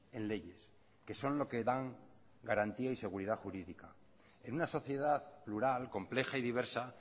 en leyes que son lo que dan garantía y seguridad jurídica en una sociedad plural compleja y diversa